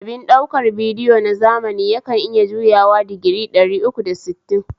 Abin ɗaukar bidiyo na zamani yakan iya juyawa digiri ɗari uku da sittin